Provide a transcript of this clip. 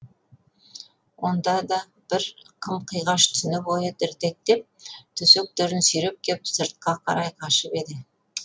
онда да бір қым қиғаш түні бойы дірдектеп төсектерін сүйреп кеп сыртқа қарай қашып еді